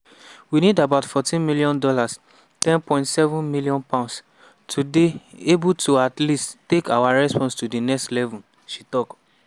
we need about $14m (£10.7m) to dey able to at least take our response to di next level” she tok.